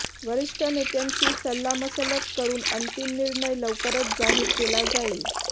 वरिष्ठ नेत्यांशी सल्लामसलत करून अंतिम निर्णय लवकरच जाहीर केला जाईल